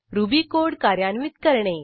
ruby code कार्यान्वित करणे